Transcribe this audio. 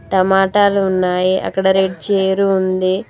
టమాటాలు ఉన్నాయి అక్కడ రెడ్ చైరు ఉంది.